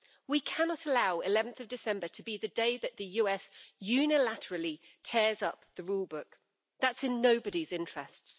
We cannot allow 11 December to be the day that the US unilaterally tears up the rule book. That's in nobody's interests.